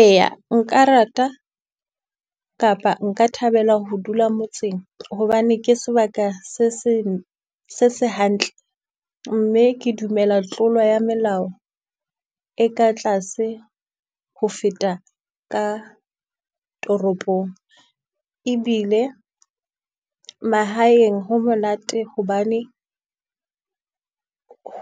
Eya nka rata kapa nka thabela ho dula motseng hobane ke sebaka se se, se se hantle. Mme ke dumela tlolo ya melao e ka tlase ho feta ka toropong. Ebile mahaeng ho monate hobane,